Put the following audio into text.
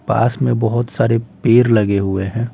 पास में बहुत सारे पेर लगे हुए हैं।